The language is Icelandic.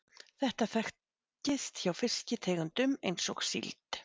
þetta þekkist hjá fiskitegundum eins og síld